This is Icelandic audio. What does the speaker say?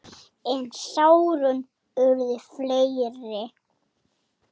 En sárin urðu fleiri.